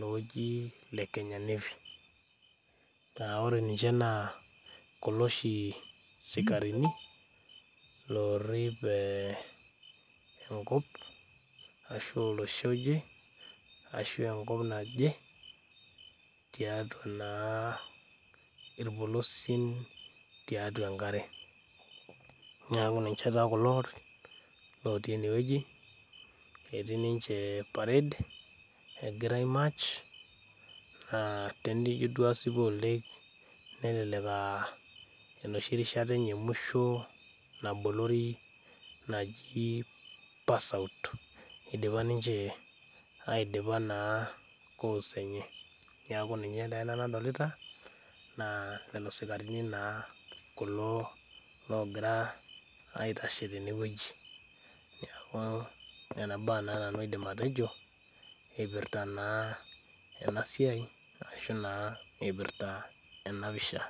looji le Kenya Navy, laa ore ninche naa kulo oshi sikarini loorip enkop ashu olosho oje ashu eenkop naje tiatua naa irpolosien tiatua enkare neeku ninche taa kulo lotii eneweji etioi ninche pared egira aimach naa tinijo duo asipu oleng nelek aa enoshi kata enye emusho nabolori naji passout idipa ninche naa aidipa koose enye, neeku naa ninye naa ena nadolita neeku lilo sikarini naa kulo logira aitashe teneweji, neeku nenea baa naa nau aidim atejo eipirta naa ena siai ashu eipirta naa ena pisha.